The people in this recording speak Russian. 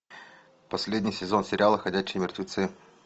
последний сезон сериала ходячие мертвецы